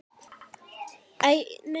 Við létum sem ekkert væri.